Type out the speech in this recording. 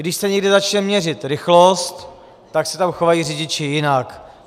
Když se někde začne měřit rychlost, tak se tam chovají řidiči jinak.